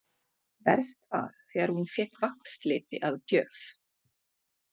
Verst var þegar hún fékk vaxliti að gjöf.